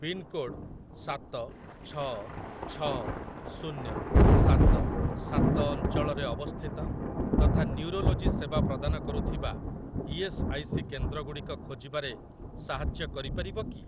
Pincode ସାତ ଛଅ ଛଅ ଶୁନ୍ୟ ସାତ ସାତ ଅଞ୍ଚଳରେ ଅବସ୍ଥିତ ତଥା ନ୍ୟୁରୋଲୋଜି ସେବା ପ୍ରଦାନ କରୁଥିବା ଇ.ଏସ୍. ଆଇ. ସି. କେନ୍ଦ୍ରଗୁଡ଼ିକ ଖୋଜିବାରେ ସାହାଯ୍ୟ କରିପାରିବ କି?